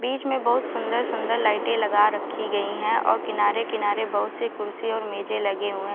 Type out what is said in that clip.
बीच में बहुत सुन्दर सुन्दर लाइटे लगा रखी गयी है और किनारे किनारे बहुत से कुर्सी और मेजे लगे हुए --